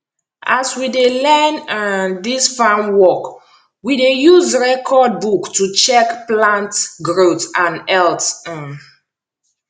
as we dey learn um dis farm work we dey use record book to check plant growth and health um